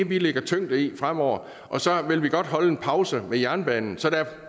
vi lægger tyngden fremover og så vil vi godt lige holde en pause med jernbanen så der er